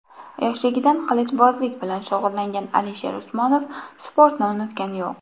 Yoshligidan qilichbozlik bilan shug‘ullangan Alisher Usmonov sportni unutgani yo‘q.